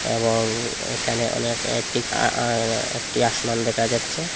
এবং এখানে অনেক একটি আ-আ একটি আসমান দেখা যাচ্ছে।